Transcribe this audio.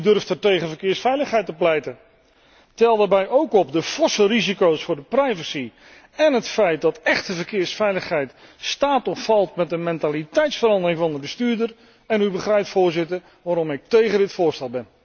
Want wie durft er tegen verkeersveiligheid te pleiten? Tel daarbij ook op de forse risico´s voor de privacy én het feit dat echte verkeersveiligheid staat of valt met de mentaliteitsverandering van de bestuurder, en u begrijpt, Voorzitter, waarom ik tegen dit voorstel ben.